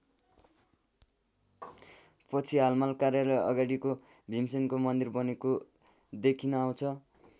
पछि हाल माल कार्यालय अगाडिको भिमसेनको मन्दिर बनेको देखिन आउँछ।